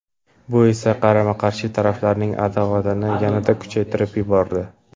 Bu esa qarama-qarshi taraflarning adovatini yanada kuchaytirib yubordi.